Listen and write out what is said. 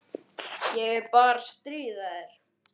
Ég er bara að stríða þér.